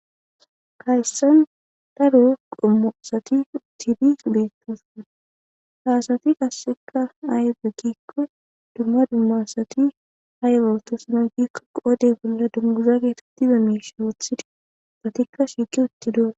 Hayssan daru qommusati uttidi beettosoan haasati kasseka aayde giikko dumma dummasati haylootos na gikko qoode bolla dunguza geetettize miisha woothidi satikka shiiki utti doo